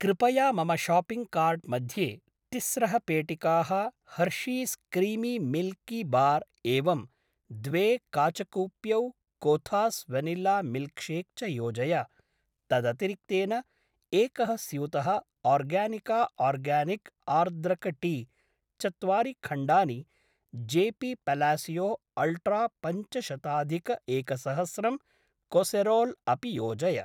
कृपया मम shopping cart मध्ये तिस्रः पेटिकाः हर्शीस् क्रीमि मिल्कि बार् एवं द्वे काचकूप्यौ कोथास् वनिल्ला मिल्क्शेक् च योजय तदतिरिक्तेन एकः स्यूतः ओर्गानिका आर्गानिक् आर्द्रक टी, चत्वारि खण्डानि जेपी पलासियो अल्ट्रा पञ्चशताधिकैकसहस्रं कासेरोल् अपि योजय।